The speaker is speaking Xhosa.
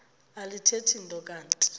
alithethi nto kanti